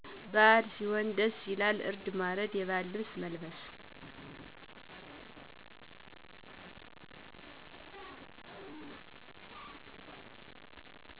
በአል ሢሆን ደስ ይላል እርድ ማረድ የባህል ልብስ መልበስ